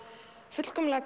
fullkomlega